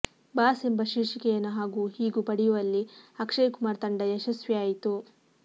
boss ಎಂಬ ಶೀರ್ಷಿಕೆಯನ್ನು ಹಾಗೂ ಹೀಗೂ ಪಡೆಯುವಲ್ಲಿ ಅಕ್ಷಯ್ ಕುಮಾರ್ ತಂಡ ಯಶಸ್ವಿಯಾಯಿತು